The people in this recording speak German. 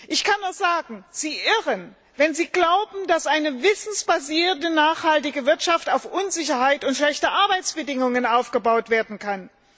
Ich kann nur sagen Sie irren, wenn Sie glauben, dass eine wissensbasierte nachhaltige Wirtschaft auf Unsicherheit und schlechte Arbeitsbedingungen aufgebaut werden kann.